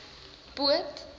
poot